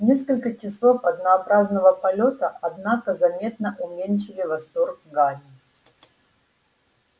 несколько часов однообразного полёта однако заметно уменьшили восторг гарри